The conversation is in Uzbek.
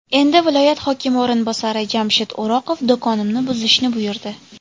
Endi viloyat hokimi o‘rinbosari Jamshid O‘roqov do‘konimni buzishni buyurdi.